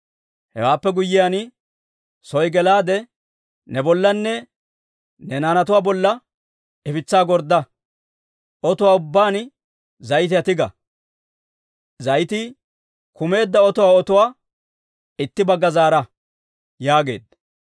Hewaappe guyyiyaan, soo gelaade, ne bollanne ne naanatuwaa bolla ifitsaa gordda. Ototuwaa ubbaan zayitiyaa tiga; zayitii kumeedda otuwaa otuwaa itti bagga zaara» yaageedda.